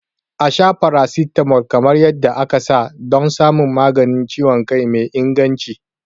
A sha paracetamol kamar yadda aka ta don samun maganin ciwon kai mai inganci.